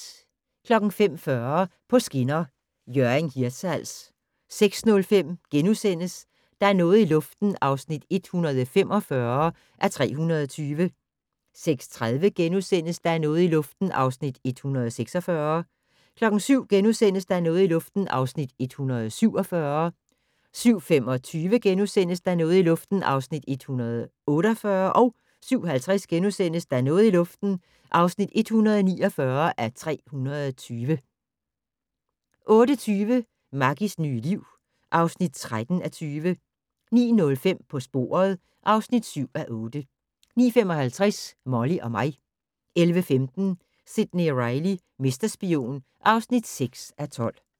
05:40: På skinner: Hjørring-Hirtshals 06:05: Der er noget i luften (145:320)* 06:30: Der er noget i luften (146:320)* 07:00: Der er noget i luften (147:320)* 07:25: Der er noget i luften (148:320)* 07:50: Der er noget i luften (149:320)* 08:20: Maggies nye liv (13:20) 09:05: På sporet (7:8) 09:55: Molly og mig 11:15: Sidney Reilly - mesterspion (6:12)